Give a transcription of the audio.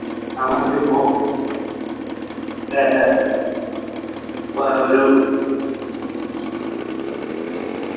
നമുക്കിപ്പൊ ഏർ പ്പോ ഒരു